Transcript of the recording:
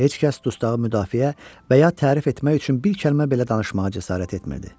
Heç kəs dustağı müdafiə və ya tərif etmək üçün bir kəlmə belə danışmağa cəsarət etmirdi.